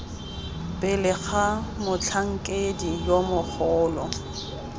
pele ga motlhankedi yo mogolo